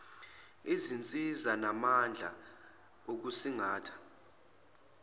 izinsiza namandla okusingatha